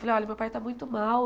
Falei, olha, meu pai está muito mal.